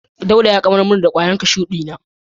Dauda ya gamar min da kwayan kashu na.